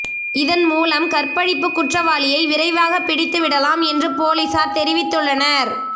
இதன் மூலம் கற்பழிப்பு குற்றவாளியை விரைவாக பிடித்துவிடலாம் என்று பொலிசார் தெரிவித்துள்ளனர்